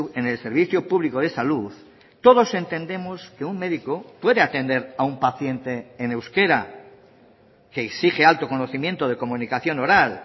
en el servicio público de salud todos entendemos que un médico puede atender a un paciente en euskera que exige alto conocimiento de comunicación oral